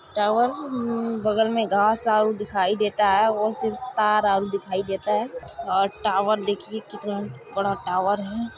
Tower उम्म बगल में घास आरु दिखाई देता है और सिर्फ तार आरू दिखाई देता है और टावर देखिये कितना बड़ा टावर हैं।